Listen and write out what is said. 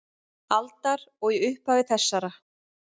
aldar og í upphafi þessarar.